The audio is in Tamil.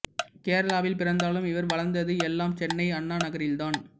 கேரளாவில் பிறந்தாலும் இவர் வளர்ந்தது எல்லாம் சென்னை அண்ணா நகரில் தான்